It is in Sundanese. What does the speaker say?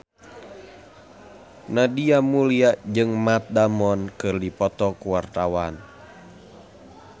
Nadia Mulya jeung Matt Damon keur dipoto ku wartawan